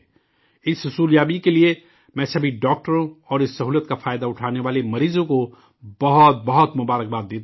اس حصولیابیکے لیے، میں سبھی ڈاکٹروں اور اس سہولت کا فائدہ اٹھانے والے مریضوں کو بہت بہت مبارکباد پیش کرتا ہوں